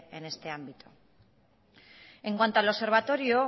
en este ámbito en cuanto al observatorio